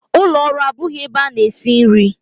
Ụlọ ọrụ abụghị ebe a na-esi nri.